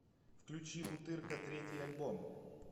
включи бутырка третий альбом